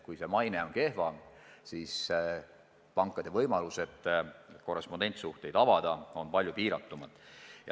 Kui riigi maine on kehv, siis pankade võimalused korrespondentsuhteid avada on palju piiratumad.